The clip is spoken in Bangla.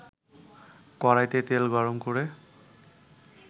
কড়াইতে তেল গরম করে